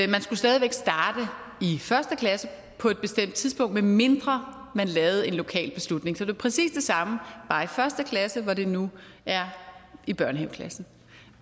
man skulle stadig væk starte i første klasse på et bestemt tidspunkt medmindre man lavede en lokal beslutning så det er præcis det samme bare i første klasse hvor det nu er i børnehaveklassen